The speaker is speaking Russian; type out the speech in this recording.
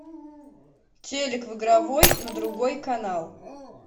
телик в игровой на другой канал